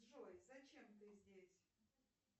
джой зачем ты здесь